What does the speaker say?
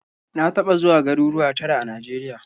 Na taɓa zuwa garuruwa tara a Najeriya.